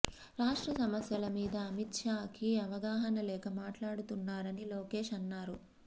రాష్ట్ర సమస్యల మీద అమిత్ షా కి అవగాహన లేక మాట్లాడుతున్నారని లోకేష్ అన్నారు